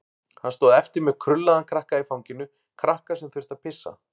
Hann stóð eftir með krullaðan krakka í fanginu, krakka sem þurfti að pissa.